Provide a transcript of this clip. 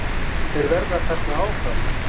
Þeir verða þarna áfram.